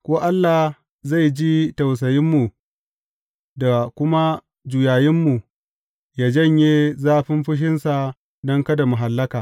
Ko Allah zai ji tausayinmu da kuma juyayinmu yă janye zafin fushinsa don kada mu hallaka.